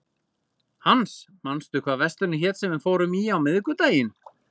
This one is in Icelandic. Hans, manstu hvað verslunin hét sem við fórum í á miðvikudaginn?